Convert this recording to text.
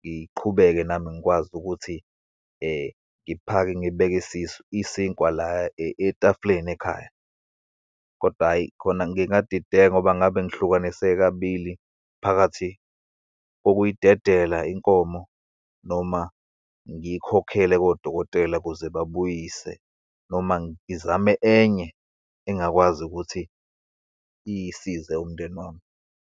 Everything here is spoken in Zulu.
ngiqhubeke nami ngikwazi ukuthi ngiphake ngibeke isisu, isinkwa la etafuleni ekhaya. Kodwa hhayi, khona ngingadideka, ngoba ngabe ngihlukaniseke kabili, phakathi kokuyidedela inkomo, noma ngiyikhokhele kodokotela ukuze babuyise, noma ngizame enye engakwazi ukuthi isize umndeni wami.